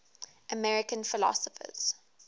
american philosophers